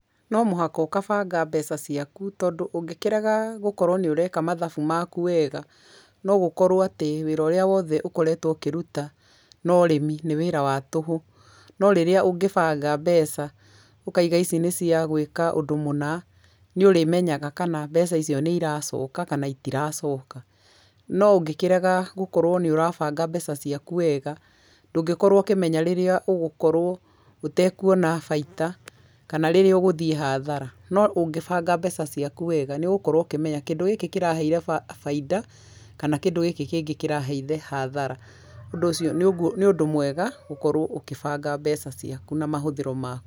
No mũhaka ũkabanga mbeca ciaku tondũ ũngĩkĩre gũkorwo nĩ ũreka mathabu maku wega no gũkorwo atĩ wĩra ũrĩa wothe ũkoretwo ũkĩruta na ũrĩmi nĩ wĩra wa tũhũ. No rĩrĩa ũngĩ banga mbeca ũkaiga ici nĩ ciagwĩka ũndũ mũna nĩ ũrĩmenyaga kana mbeca icio nĩ iracoka kana itiracoka. No ũngĩ kĩrega gũkorwo nĩ ũrabanga mbeca ciaku wega ndũngĩkorwo ũkĩmenya rĩrĩa ũngĩkorwo ũtekuona baita kana rĩrĩa ũgũthiĩ hathara. No ũngĩbanga mbeca ciaku wega nĩ ũgũkorwo ũkĩmenya kũndũ gĩkĩ kĩraheire bainda kana kĩndũ gĩkĩ kĩngĩ kĩraheire hathara, ũndũ ũcio nĩ ũndũ mwega gũkorwo ũkĩbanga mbeca ciaku na mahũthĩro maku.